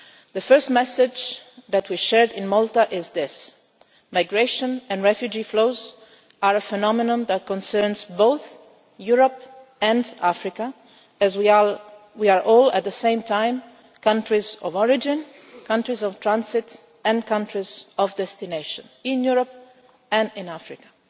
The first message that we shared in Malta was this migration and refugee flows are a phenomenon that concerns both Europe and Africa, as we are all at the same time countries of origin, countries of transit and countries of destination, in Europe and in Africa.